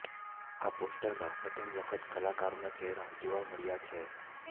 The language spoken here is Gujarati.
આ પોસ્ટરમાં પ્રથમ વખત કલાકારોના ચહેરા જોવા મળ્યા છે